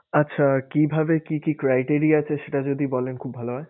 আচ্ছা কিভাবে কি কি criteria আছে সেটা যদি বলেন খুব ভালো হয়।